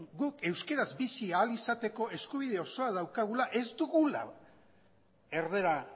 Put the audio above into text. guk euskaraz bizi ahal izateko eskubide osoa daukagula ez dugula erdara